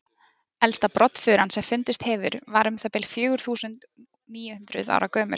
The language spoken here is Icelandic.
elsta broddfuran sem fundist hefur var um það bil fjögur þúsund níu hundruð ára gömul